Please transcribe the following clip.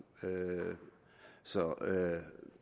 så